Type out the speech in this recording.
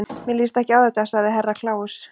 Mér líst ekki á þetta, sagði Herra Kláus.